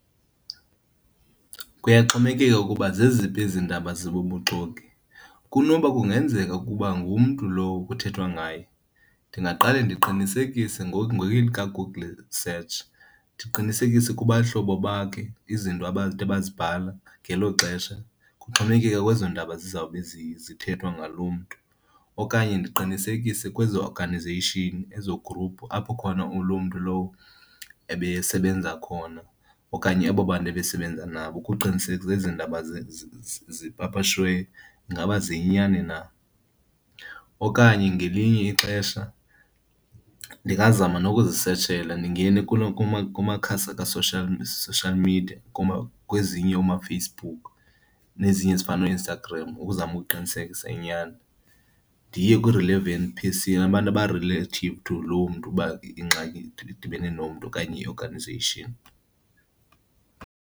Kuyaxhomekeka ukuba zeziphi ezi ndaba zibubuxoki. Kunoba kungenzeka ukuba ngumntu lowo kuthethwa ngaye, ndingaqale ndiqinisekise elikaGoogle search. Ndiqinisekise kubahlobo bakhe izinto abathe bazibhala ngelo xesha, kuxhomekeka kwezo ndaba zizawube zithethwa ngaloo mntu. Okanye ndiqinisekise kwezo organization, ezo gruphu apho khona loo mntu lowo ebesebenza khona okanye abo bantu ebesebenza nabo ukuqinisekisa ezi ndaba zipapashiweyo ingaba ziyinyani na. Okanye ngelinye ixesha ndingazama nokuzisetshela ndingene kumakhasi aka-social, social media kwezinye oomaFacebook nezinye ezifana nooInstagram ukuzama ukuqinisekisa inyani. Ndiye kwii-relevant abantu aba-relative to loo mntu ukuba ingxaki idibene nomntu okanye i-organization.